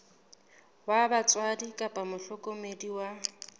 wa batswadi kapa mohlokomedi wa